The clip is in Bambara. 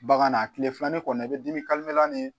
Bagan na kile filanan ni kɔni i bɛ dimi